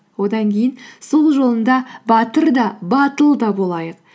одан кейін сол жолында батыр да батыл да болайық